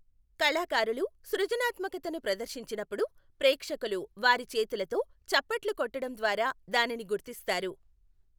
కళాకారులు సృజనాత్మకతను ప్రదర్శించినప్పుడు, ప్రేక్షకులు వారి చేతులతో చప్పట్లు కొట్టడం ద్వారా దానిని గుర్తిస్తారు.